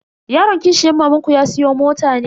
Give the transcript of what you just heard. Yaron kishiyar mamanku ya siya mota ne?